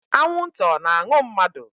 Anwụnta ọ na-aṅụ mmadu?